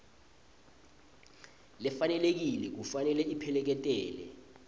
lefanelekile kufanele ipheleketele